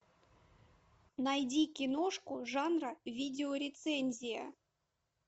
найди киношку жанра видеорецензия